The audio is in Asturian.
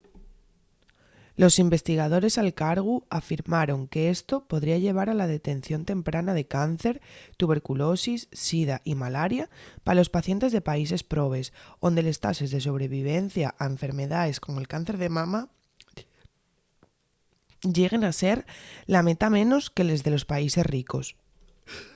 los investigadores al cargu afirmaron qu’esto podría llevar a la detención temprana de cáncer tuberculosis sida y malaria pa los pacientes de países probes onde les tases de sobrevivencia a enfermedaes como’l cáncer de mama lleguen a ser la metá menos que les de los países ricos